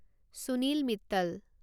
Sunil Mittal